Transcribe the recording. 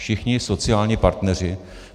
Všichni sociální partneři.